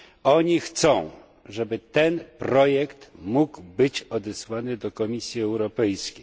Oni chcą, żeby ten projekt mógł być odesłany do Komisji Europejskiej.